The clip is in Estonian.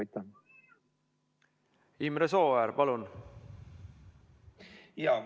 Imre Sooäär, palun!